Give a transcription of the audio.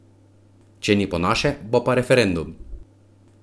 Če ni po naše, bo pa referendum!